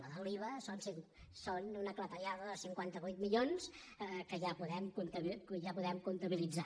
la de l’iva són una clatellada de cinquanta vuit milions que ja podem comptabilitzar